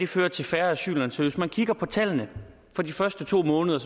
føre til færre asylansøgere hvis man kigger på tallene for de første to måneder